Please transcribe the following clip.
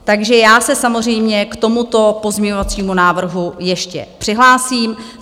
Takže já se samozřejmě k tomuto pozměňovacímu návrhu ještě přihlásím.